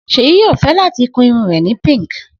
Seyi yoo fẹ lati kun irun rẹ Pink